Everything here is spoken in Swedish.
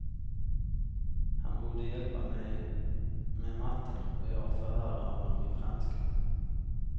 Han borde hjälpa mig med matten och jag förhöra honom i franska.